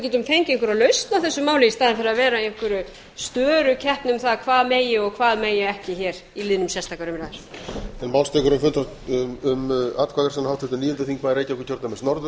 getum fengið einhverja lausn á þessu máli í staðinn fyrir að vera í einhverri störukeppni um það hvað megi og hvað megi ekki undir liðnum sérstakar umræður